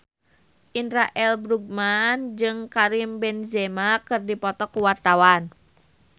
Indra L. Bruggman jeung Karim Benzema keur dipoto ku wartawan